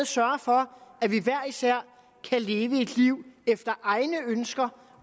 sørge for at vi hver især kan leve et liv der efter egne ønsker